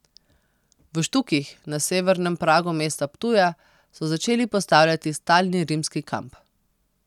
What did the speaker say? V Štukih, na severnem pragu mesta Ptuja, so začeli postavljati stalni rimski kamp.